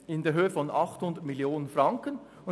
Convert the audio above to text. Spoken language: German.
In den letzten Jahren war dies zweimal der Fall.